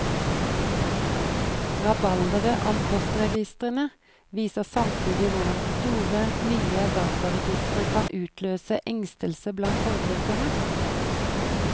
Rabalderet om postregistrene viser samtidig hvordan store, nye dataregistre kan utløse engstelse blant forbrukerne.